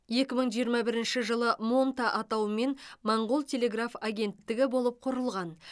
екі мың жиырма бірінші жылы монта атауымен моңғол телеграф агенттігі болып құрылған